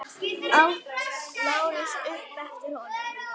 át Lárus upp eftir honum.